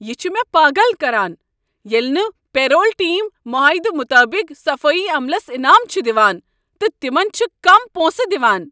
یہ چھ مےٚ پاگل کران ییٚلہ نہٕ پے رول ٹیم معاہدٕ مطابق صفٲیی عملس انعام چھ دوان تہٕ تمن چھ کم پونسہٕ دوان۔